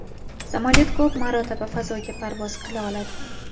Samolyot ko‘p marotaba fazoga parvoz qila oladi.